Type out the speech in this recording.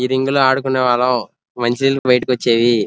ఇది ఇందిలో అడ్డుకోవాలం మంచి నీళ్లు బైటికి వచ్చేది --